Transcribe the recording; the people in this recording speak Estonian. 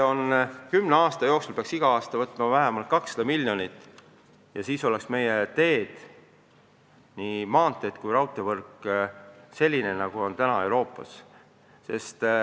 Kümne aasta jooksul peaks iga aasta võtma laenu vähemalt 200 miljonit ja siis oleks meie teed – nii maanteed kui raudteevõrk – sellised, nagu need on mujal Euroopas.